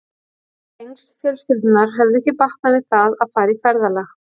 Tengsl fjölskyldunnar höfðu ekki batnað við það að fara í ferðalag.